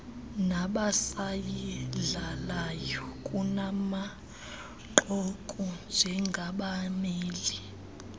nabasayidlalayo kunangoku njengabameli